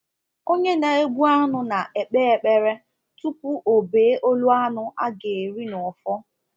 Onye na-egbu anụ na-ekpe ekpere tupu o bee olu anụ a ga-eri n’ọfọ